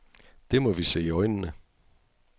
Det må vi se i øjnene.